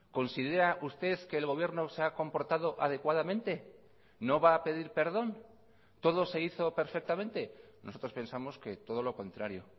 considera usted que el gobierno se ha comportado adecuadamente no va a pedir perdón todo se hizo perfectamente nosotros pensamos que todo lo contrario